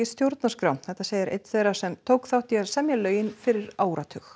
stjórnarskrá þetta segir einn þeirra sem tók þátt í að semja lögin fyrir áratug